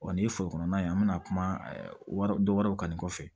Wa ni ye foro kɔnɔna ye an bɛna kuma wari dɔ wɛrɛw kan nin kɔfɛ